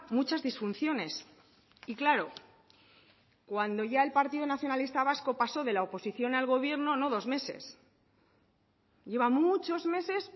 muchas disfunciones y claro cuando ya el partido nacionalista vasco pasó de la oposición al gobierno no dos meses lleva muchos meses